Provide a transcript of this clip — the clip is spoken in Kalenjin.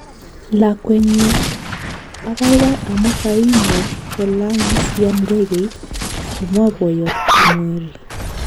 Lakwenyu, ababai amu kaimuch kolang'sian ndegeit, komwa boyot Kimweri